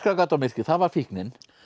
gat á myrkrið það var fíknin